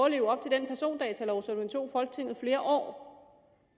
at leve op til den persondatalov som det tog folketinget flere år